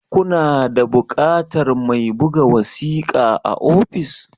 Ku na da buƙatar mai buga wasiƙa a office?